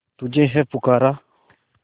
तुझे है पुकारा